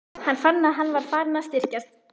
Hann fann, að hann var farinn að styrkjast.